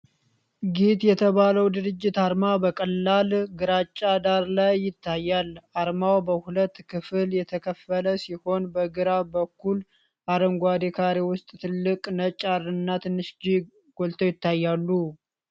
ጊት የተባለው ድርጅት አርማ በቀላል ግራጫ ዳራ ላይ ይታያል። አርማው በሁለት ክፍል የተከፈለ ሲሆን በግራ በኩል አረንጓዴ ካሬ ውስጥ ትልቅ ነጭ 'R' እና ትንሽ 'G' ጎልተው ይታያሉ።